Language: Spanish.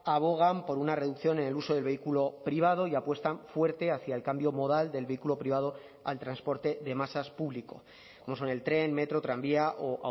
abogan por una reducción en el uso del vehículo privado y apuestan fuerte hacia el cambio modal del vehículo privado al transporte de masas público como son el tren metro tranvía o